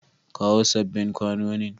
Kawo sabbin kwanonin!